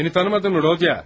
Məni tanımadınmı, Rodya?